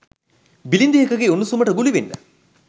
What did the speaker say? බිලිඳියකගේ උණුසුමට ගුලි වෙන්න